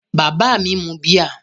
Bàbá mi mu bíà?